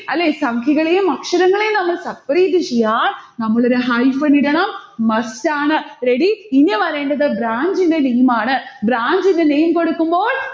അല്ലെ, സംഖ്യകളെയും അക്ഷരങ്ങളെയും നമ്മൾ separate ചെയ്യാൻ നമ്മളൊരു hyphen ഇടണം, must ആണ്. ready? ഇനി വരേണ്ടത് branch ഇന്റെ name ആണ്. branch ന്റെ name കൊടുക്കുമ്പോൾ